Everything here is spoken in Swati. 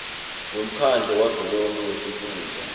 wemkhandlu wavelonkhe wetifundza